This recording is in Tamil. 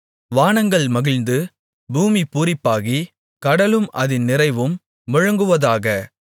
வானங்கள் மகிழ்ந்து பூமி பூரிப்பாகி கடலும் அதின் நிறைவும் முழங்குவதாக